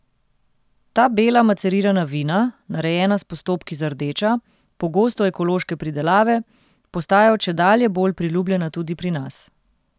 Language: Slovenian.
Ta bela macerirana vina, narejena s postopki za rdeča, pogosto ekološke pridelave, postajajo čedalje bolj priljubljena tudi pri nas.